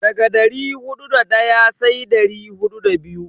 Daga dari hudu da daya sai dari hudu da biyu.